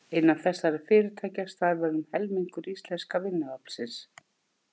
Innan þessara fyrirtækja starfar um helmingur íslenska vinnuaflsins.